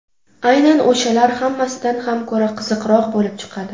Aynan o‘shalar hammasidan ham ko‘ra qiziqroq bo‘lib chiqadi.